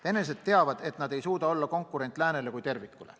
Venelased teavad, et nad ei suuda olla konkurent läänele kui tervikule.